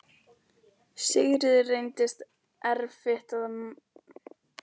Tvinnakefli og nálar, hveiti og svuntur.